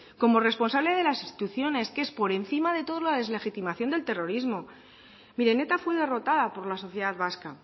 como responsable de las instituciones que es por encima de todo la deslegitimación del terrorismo miren eta fue derrotada por la sociedad vasca